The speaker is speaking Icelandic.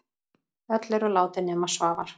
Öll eru látin nema Svavar.